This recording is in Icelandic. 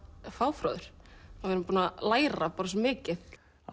fáfróður við erum búin að læra svo mikið